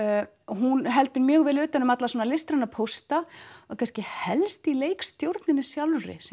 hún heldur mjög vel utan um alla svona listræna pósta það er kannski helst í leikstjórninni sjálfri sem